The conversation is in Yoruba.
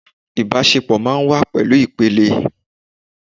Ìbásepọ̀ máa n wá ní ìpele